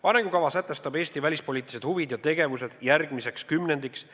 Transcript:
Arengukava sätestab Eesti välispoliitilised huvid ja tegevused järgmiseks kümnendiks.